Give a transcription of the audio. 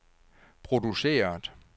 produceret